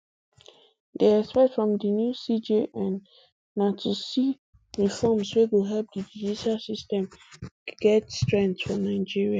dey expect from di new cjn na to see reforms wey go help di judicial system system get strength for nigeria